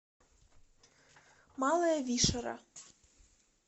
малая вишера